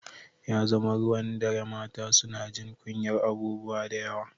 Ya zama ruwan dare mata suna jin kunyar abubuwa da yawa